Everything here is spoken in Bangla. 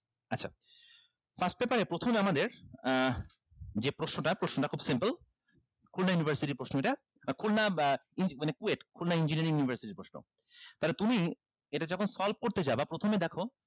আসতে পারে প্রথমে আমাদের আহ যে প্রশ্নটা প্রশ্নটা খুব simple খুলনা university এর প্রশ্ন এটা বা খুলনা মানে KUET খুলনা engineering university এর প্রশ্ন তাহলে তুমি এটা যখন solve করতে যাবা প্রথমে দেখো